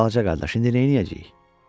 Balaca qardaş, indi nə edəcəyik?